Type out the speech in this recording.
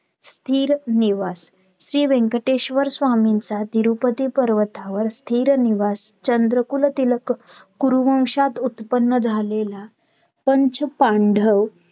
आता बँकेने फक्त सोहनीतीचं नाही करायचं तो निधी BMC त्यांना approval करायला सांगितलेला आहे आणि bank आणि बँकेने पण यश बोललेला तर हे दोन्ही reject करायचं reject जेव्हा हे cancel केलं